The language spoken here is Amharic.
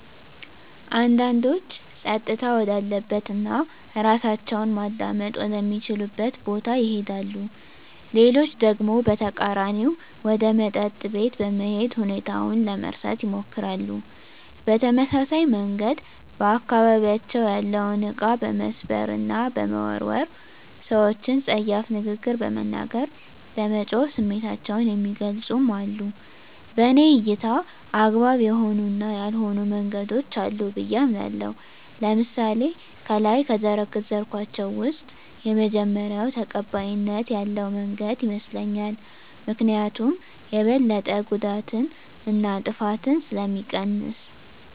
አንዳንዶች ፀጥታ ወዳለበት እና እራሳቸውን ማዳመጥ ወደ ሚችሉበት ቦታ ይሄዳሉ። ሌሎች ደግሞ በተቃራኒው ወደ መጠጥ ቤት በመሄድ ሁኔታውን ለመርሳት ይሞክራሉ። በተመሳሳይ መንገድ በአካባቢያቸው ያለውን እቃ በመስበር እና በመወርወር፣ ሰወችን ፀያፍ ንግግር በመናገር፣ በመጮህ ስሜታቸውን የሚገልፁም አሉ። በኔ እይታ አግባብ የሆኑ እና ያልሆኑ መንገዶች አሉ ብየ አምናለሁ። ለምሳሌ ከላይ ከዘረዘርኳቸው ውስጥ የመጀመሪው ተቀባይነት ያለው መንገድ ይመስለኛል። ምክኒያቱም የበለጠ ጉዳትን እና ጥፋትን ስለሚቀንስ።